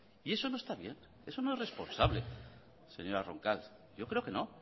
y eso no está bien eso no es responsable señora roncal yo creo que no